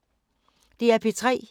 DR P3